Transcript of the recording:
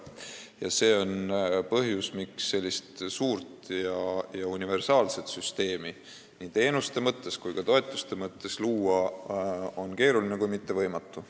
See on põhjus, miks sellist suurt ja universaalset süsteemi nii teenuste kui ka toetuste mõttes luua on keeruline kui mitte võimatu.